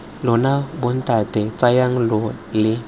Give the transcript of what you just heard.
lona bontate tsamayang lo ye